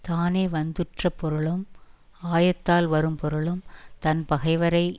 தானே வந்துற்ற பொருளும் ஆயத்தால் வரும் பொருளும் தன் பகைவரை